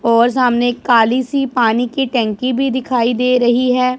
और सामने एक काली सी पानी की टंकी भी दिखाई दे रही है।